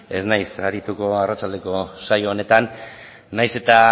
ez naiz arituko arratsaldeko saio honetan nahiz eta